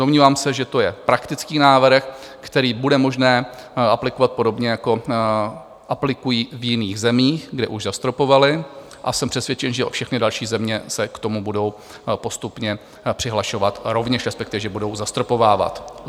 Domnívám se, že to je praktický návrh, který bude možné aplikovat podobně, jako aplikují v jiných zemích, kde už zastropovali, a jsem přesvědčen, že všechny další země se k tomu budou postupně přihlašovat rovněž, respektive že budou zastropovávat.